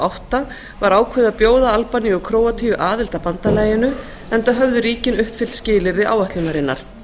átta var ákveðið að bjóða albaníu og króatíu aðild að bandalaginu enda höfðu ríkin uppfyllt skilyrði áætlunarinnar